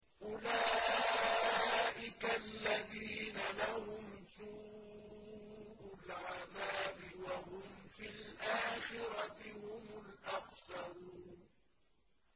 أُولَٰئِكَ الَّذِينَ لَهُمْ سُوءُ الْعَذَابِ وَهُمْ فِي الْآخِرَةِ هُمُ الْأَخْسَرُونَ